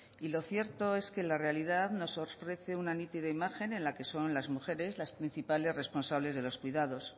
y lo cierto es que la realidad nos ofrece una nítida imagen en la que son las mujeres las principales responsables de los cuidados